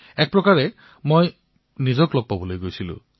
এক প্ৰকাৰে মই মোক লগ পাবলৈ গৈছিলো